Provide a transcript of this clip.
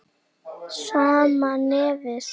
Sama nefið.